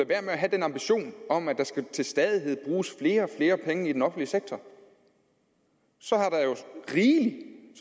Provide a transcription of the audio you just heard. være med at have den ambition om at der til stadighed skal bruges flere og flere penge i den offentlige sektor så